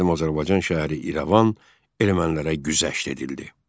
Qədim Azərbaycan şəhəri İrəvan ermənilərə güzəşt edildi.